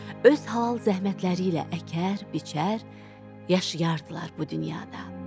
Öz halal zəhmətləri ilə əkər, biçər, yaşayardılar bu dünyada.